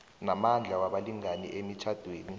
namandla wabalingani emitjhadweni